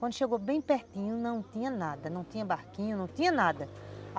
Quando chegou bem pertinho, não tinha nada, não tinha barquinho, não tinha nada.